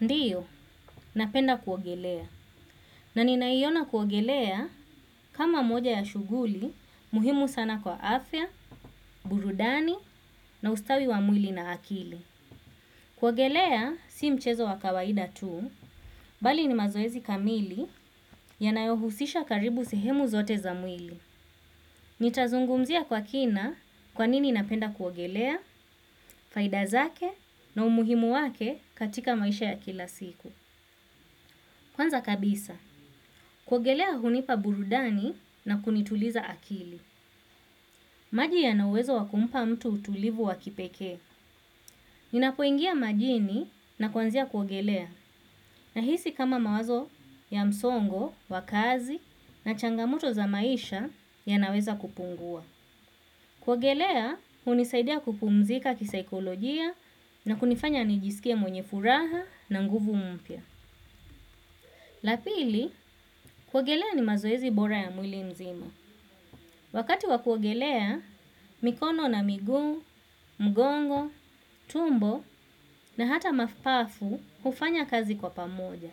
Ndiyo, napenda kuogelea. Na ninaiona kuogelea kama moja ya shuguli, muhimu sana kwa afya, burudani, na ustawi wa mwili na akili. Kuogelea, si mchezo wa kawaida tu, bali ni mazoezi kamili ya nayohusisha karibu sehemu zote za mwili. Nitazungumzia kwa kina kwanini napenda kuogelea, faidazake, na umuhimu wake katika maisha ya kila siku. Kwanza kabisa. Kuogelea hunipa burudani na kunituliza akili. Maji ya nauwezo wakumpa mtu utulivu wakipekee. Ninapoingia majini na kuanzia kuogelea. Nahisi kama mawazo ya msongo, wakazi na changamoto za maisha ya naweza kupungua. Kuogelea hunisaidia kupumzika kisaikolojia na kunifanya nijisikie mwenye furaha na nguvu mpya. Lapili, kuogelea ni mazoezi bora ya mwili nzima. Wakati wa kuogelea, mikono na miguu, mgongo, tumbo na hata mapafu hufanya kazi kwa pamoja.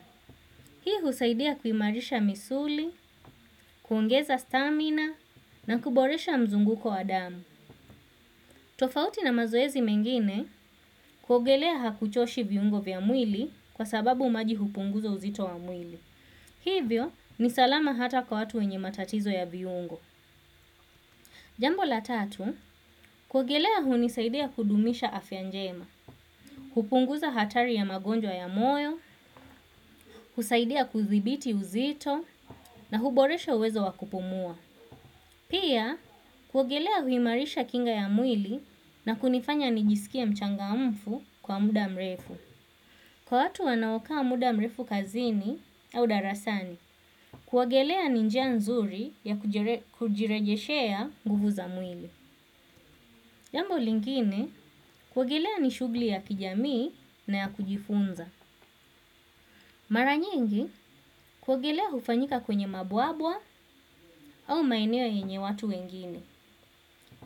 Hii husaidia kuimarisha misuli, kuongeza stamina na kuboresha mzunguko wa damu. Tofauti na mazoezi mengine, kuogelea hakuchoshi viungo vya mwili kwa sababu maji hupunguza uzito wa mwili. Hivyo ni salama hata kwa watu wenye matatizo ya viungo. Jambo la tatu, kuogelea hunisaidia kudumisha afyanjema, hupunguza hatari ya magonjwa ya moyo, husaidia kuthibiti uzito, na huboresha uwezo wakupumua. Pia, kuogelea huimarisha kinga ya mwili na kunifanya nijisikie mchanga mfu kwa muda mrefu. Kwa watu wanaokaa muda mrefu kazini au darasani, kuogelea ninjia nzuri ya kujirejeshea nguvu za mwili. Jambo lingine, kuogelea nishugli ya kijamii na ya kujifunza. Mara nyingi kuogelea hufanyika kwenye mabwabwa au maeneo yenye watu wengine.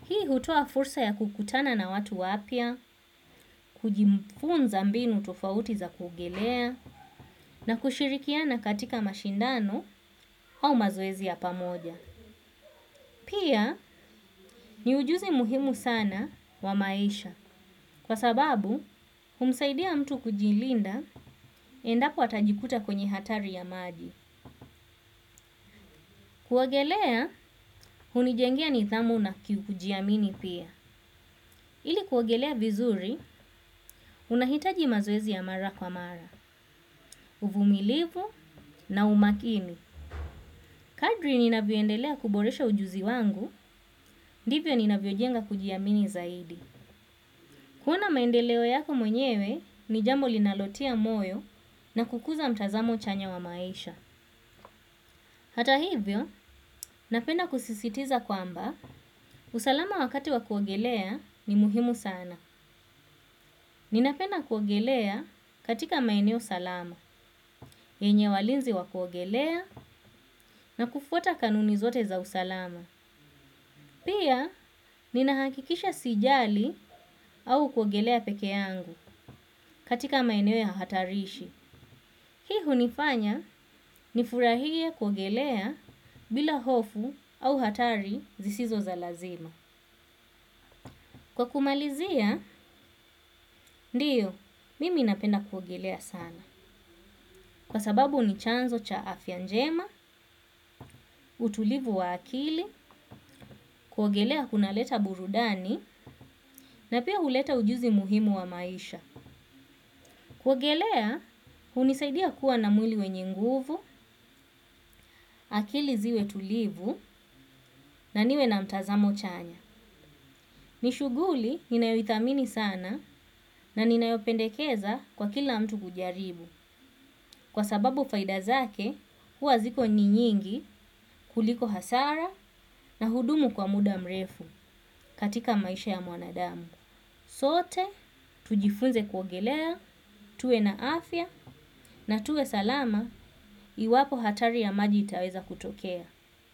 Hii hutoa fursa ya kukutana na watu wapya, kujifunza mbinu tofauti za kuogelea na kushirikiana katika mashindano au mazoezi ya pamoja. Pia ni ujuzi muhimu sana wa maisha kwa sababu humsaidia mtu kujilinda endapo atajikuta kwenye hatari ya maji. Kuogelea hunijengea ni thamu na kujiamini pia. Ili kuogelea vizuri, unahitaji mazoezi ya mara kwa mara, uvumilivu na umakini. Kadri ninavyoendelea kuboresha ujuzi wangu, ndivyo ninavyojenga kujiamini zaidi. Kuona maendeleo yako mwenyewe, nijambo linalotia moyo na kukuza mtazamo chanya wa maisha. Hata hivyo, napenda kusisitiza kwamba, usalama wakati wakuogelea ni muhimu sana. Ninapenda kuogelea katika maeneo salama, yenye walinzi wa kuogelea na kufuata kanuni zote za usalama. Pia, ninahakikisha sijali au kuogelea peke yangu katika maeneo ya hatarishi. Hii hunifanya, nifurahie kuogelea bila hofu au hatari zisizo za lazima. Kwa kumalizia, ndiyo, mimi napenda kuogelea sana. Kwa sababu ni chanzo cha afyanjema, utulivu wa akili, kuogelea kuna leta burudani, na pia huleta ujuzi muhimu wa maisha. Kuigelea, hunisaidia kuwa na mwili wenye nguvu, akili ziwe tulivu, na niwe na mtazamo chanya. Nishuguli, ninayoithamini sana, na ninayopendekeza kwa kila mtu kujaribu. Kwa sababu faidazake, huwa ziko ni nyingi kuliko hasara na hudumu kwa muda mrefu katika maisha ya mwanadamu. Sote, tujifunze kuogelea, tuwe na afya na tuwe salama iwapo hatari ya maji itaweza kutokea.